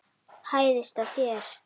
Hæðist að þér.